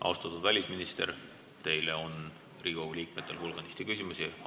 Austatud välisminister, Riigikogu liikmetel on teile hulganisti küsimusi.